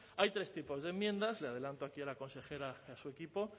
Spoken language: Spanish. hay tres tipos de enmiendas le adelanto aquí a la consejera y a su equipo